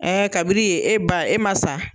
ka bi ni yen, e ba e ma sa